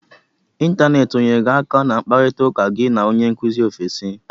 Ịntaneti o nyeere gị aka na mkparita ụka gị na onye nkụzi ofesi?